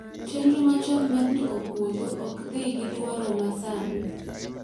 Chenro machon mar ndiko puodho ok dhi gi dwaro masani